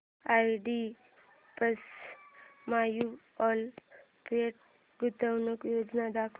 IDFC mutual fund गुंतवणूक योजना दाखव